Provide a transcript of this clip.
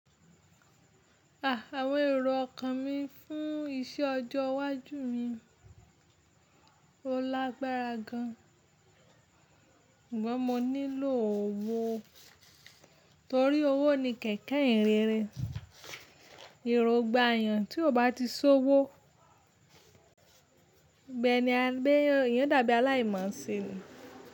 À, àwọn èrò ọkàn mi fún iṣẹ́ ọjọ́ iwájú mi ó lágbára gan, sugbọ́n mo nílò owó, torí owó ni kẹ̀kẹ́ ìyìnrere, èrò n gba eyàn tí o bá ti sowó, bẹ́ẹ́ ni a gbéyàn, eeyan dàbí aláìmọ̀ọ́ṣe ni.